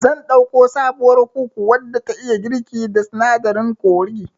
Zan ɗauko sabuwar kuku wadda ta iya girki da sinadarin kori